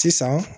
Sisan